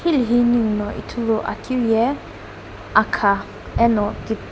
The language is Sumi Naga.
hilihi ningu no ithulu akiu ye akha eno.